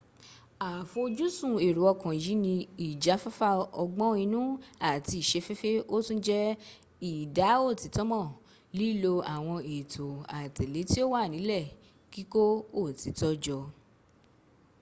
afojusun ero okan yi ni ijafafa ogbon inu ati isefefe o tun je ida otito mo lilo awon eeto aatele ti o wa nile kiko otito jo